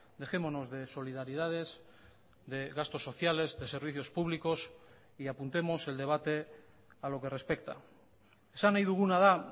dejémonos de solidaridades de gastos sociales de servicios públicos y apuntemos el debate a lo que respecta esan nahi duguna da